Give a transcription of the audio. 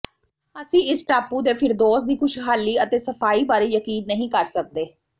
ਅਸੀਂ ਇਸ ਟਾਪੂ ਦੇ ਫਿਰਦੌਸ ਦੀ ਖੁਸ਼ਹਾਲੀ ਅਤੇ ਸਫਾਈ ਬਾਰੇ ਯਕੀਨ ਨਹੀਂ ਕਰ ਸਕਦੇ